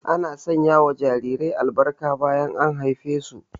Ana sanya wa jarirai albarka bayan an haife su